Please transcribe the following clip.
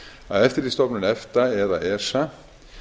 að eftirlitsstofnun efta eða esa